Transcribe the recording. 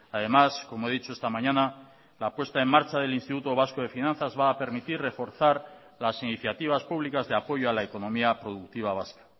además como he dicho esta mañana la puesta en marcha del instituto vasco de finanzas va a permitir reforzar las iniciativas públicas de apoyo a la economía productiva vasca